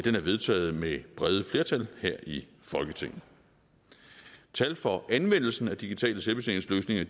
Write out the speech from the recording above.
er vedtaget med brede flertal her i folketinget tal for anmeldelsen af digitale selvbetjeningsløsninger